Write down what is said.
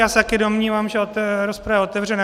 Já se taky domnívám, že rozprava je otevřena.